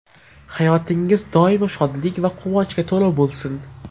Hayotingiz doimo shodlik va quvonchga to‘la bo‘lsin.